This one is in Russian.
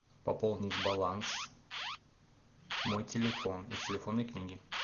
пополнить баланс мой телефон из телефонной книги